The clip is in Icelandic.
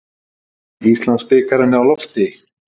Íslandsbikarinn á lofti